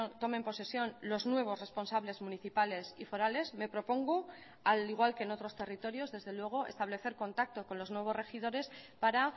tomen posesión los nuevos responsables municipales y forales me propongo al igual que en otros territorios desde luego establecer contacto con los nuevos regidores para